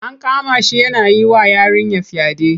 An kama shi yana yi wa yarinya fyaɗe.